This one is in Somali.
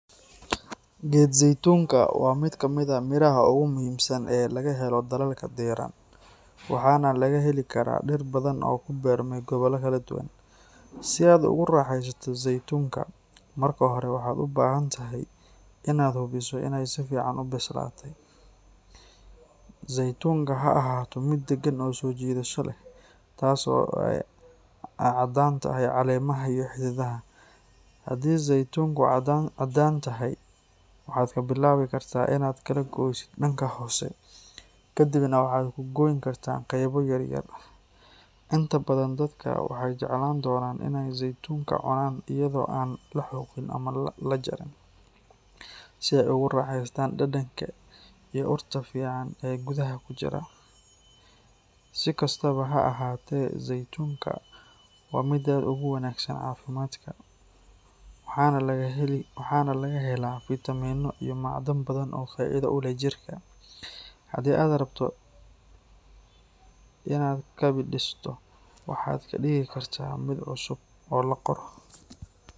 Geed zeytunka ah waa mid ka mid ah miraha ugu muhiimsan ee laga helo dalalka diiran, waxaana laga heli karaa dhir badan oo ku beermay gobollo kala duwan. Si aad ugu raaxaysato zeytunka, marka hore, waxaad u baahan tahay inaad hubiso inay si fiican u bislaatay. Zeytunka ha ahaato mid deggan oo soo jiidasho leh, taas oo ay caddaan tahay caleemaha iyo xididdada. Haddii zeytunku caddaan tahay, waxaad ka bilaabi kartaa inaad kala goysid dhanka hoose, kadibna waxaad ku gooyn kartaa qaybo yar yar. Inta badan dadka waxay jeclaan doonaan inay zeytunka cunaan iyadoo aan la xoqin ama la jarin, si ay ugu raaxaystaan dhadhanka iyo urta fiican ee gudaha ku jira. Si kastaba ha ahaatee, zeytunka waa mid aad ugu wanaagsan caafimaadka, waxaana lagu helaa fiitamiinno iyo macdan badan oo faa'iido u leh jirka. Haddii aad rabto inaad kabidhiso, waxaad ka dhigi kartaa mid cusub oo la qoro.